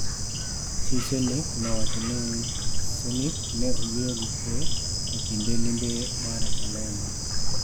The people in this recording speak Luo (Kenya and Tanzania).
Chi Sernik nowacho ni Sernik ne oyueyo gi kuwe e kinde limbe mar Malema.